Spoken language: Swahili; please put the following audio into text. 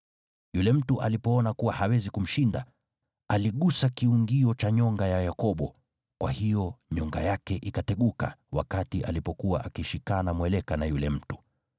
Yule mtu alipoona kuwa hawezi kumshinda, aligusa kiungio cha nyonga ya Yakobo kwa hiyo nyonga yake ikateguka wakati alipokuwa akishikana mweleka na yule mtu.